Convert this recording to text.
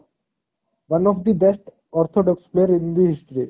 one of the best orthodox player in the history